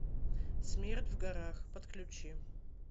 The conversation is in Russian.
смерть в горах подключи